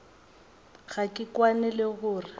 ga ke kwane le gore